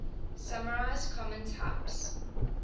summarize common types